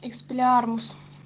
экспеллиармус